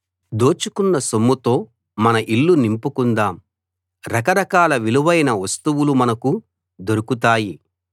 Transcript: దోచుకున్న సొమ్ముతో మన ఇల్లు నింపుకుందాం రకరకాల విలువైన వస్తువులు మనకు దొరుకుతాయి